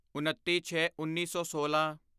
ਉਨਤੀਛੇਉੱਨੀ ਸੌ ਸੋਲਾਂ